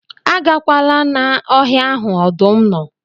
Agakwala na na ọhịa ahụ ọdụm nọ